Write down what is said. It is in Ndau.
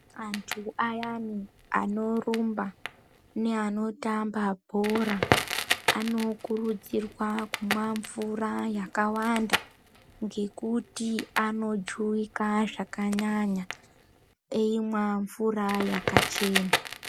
Antu ayana anorumba neanotamba bhora anokurudzirwa kumwa mvura yakawanda ngekuti anojuwika zvakanyanya eimwa mvura yakachena .